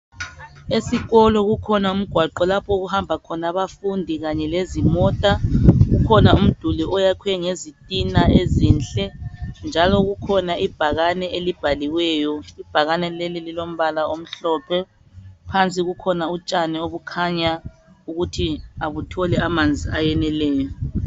Esikolo kukhona umgwaqo lapho okuhamba khona abafundi kanye lezimota. Kukhona umduli oyakhiwe ngezitina ezinhle njalo kukhona ibhakane elibhaliweyo. Ibhakane leli lilombala omhlophe phansi kukhona utshani obukhanya ukuthi abutholi manzi ayaneleyo.